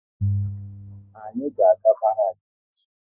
Anyị ga aga Barak echi